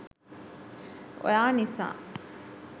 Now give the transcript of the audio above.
ඔයා නිසා